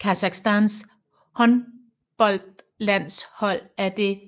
Kasakhstans håndboldlandshold er det